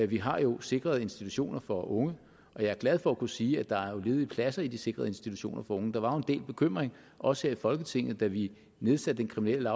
vi har jo sikrede institutioner for unge og jeg er glad for at kunne sige at der jo er ledige pladser i de sikrede institutioner for unge der var jo en del bekymring også her i folketinget da vi nedsatte den kriminelle